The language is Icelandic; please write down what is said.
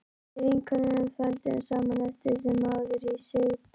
Við vinkonurnar þvældumst saman eftir sem áður í Sigtún